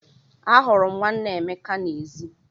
Ahụrụ m nwanne Emeka n'èzí.